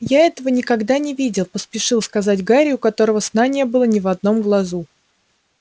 я этого никогда не видел поспешил сказать гарри у которого сна не было ни в одном глазу